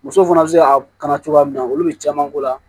Muso fana bɛ se ka kana cogoya min na olu bɛ caman ko la